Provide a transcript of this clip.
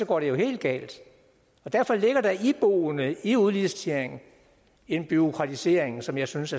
går det jo helt galt derfor ligger der iboende i udliciteringen en bureaukratisering som jeg synes